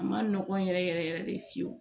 A ma nɔgɔn yɛrɛ yɛrɛ de fiyewu